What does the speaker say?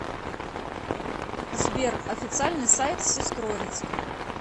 сбер официальный сайт сестрорецк